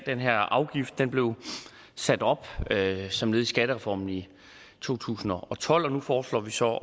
den her afgift som blev sat op som led i skattereformen i to tusind og tolv og nu foreslår vi så